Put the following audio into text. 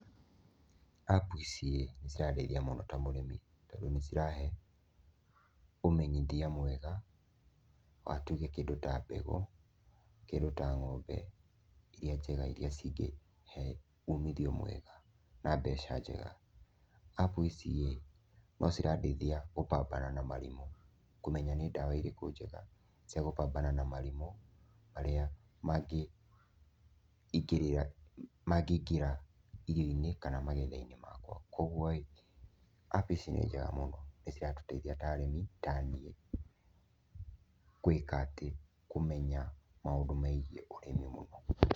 Appu ici ĩ nĩ cirandeithia mũno ta mũrĩmi. Tondũ nĩ cirahe ũmenyithia mwega wa tuuge kĩndũ ta mbegũ, kĩndũ ta ng'ombe iria njega iria cingĩĩhe umithio mwega na mbeca njega. Appu ici ĩ, no cirandeithia gũpambana na marimũ, kũmenya ni ndawa ĩrĩkũ njega cia gũpambana na marimũ marĩa mangĩingĩra irio-inĩ kana magetha-inĩ makwa. Kwoguo ĩ, appu ici nĩ njega mũno, nĩ ciratũteithia ta arĩmi, ta niĩ gwĩka atĩ, kũmenya maũndũ megiĩ ũrĩmi mũno.